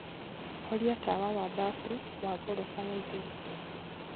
horĩa tawa wa bafu wa gorofa ya ĩgũrũ